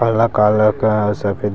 कला कला क सफेदी --